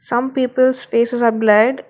Some peoples faces are blurred.